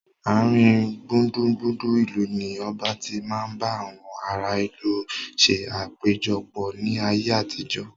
Aarin gbùngbùn ìlú ni ọba tí máa ń bá àwọn ará ìlú ṣe àpéjọpọ̀ ni ayé àtijọ́